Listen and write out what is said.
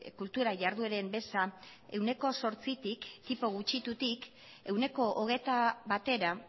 kultura jardueren beza ehuneko zortzitik tipo gutxitutik ehuneko hogeita batera